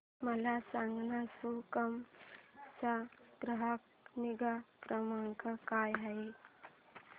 मला सांगाना सुकाम चा ग्राहक निगा क्रमांक काय आहे